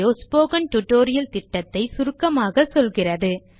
இது spoken tutorial project ஐ சுருக்கமாக சொல்லுகிறது